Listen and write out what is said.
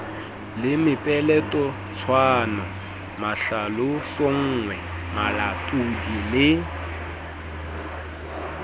le mepeletotshwano mahlalosonngwe malatodi le